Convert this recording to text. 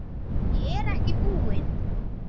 Ég er ekki búinn.